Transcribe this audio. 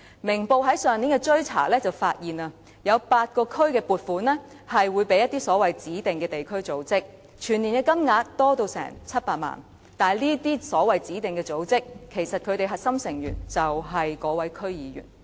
《明報》在上年的追查中，便發現有8個區的撥款是會交給一些指定地區組織，全年金額高達700萬元，但這些所謂的指定組織的核心成員，其實便是該名區議員。